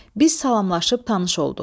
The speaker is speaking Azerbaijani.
Biz salamlaşıb tanış olduq.